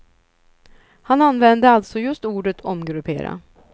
Han använde alltså just ordet omgruppera.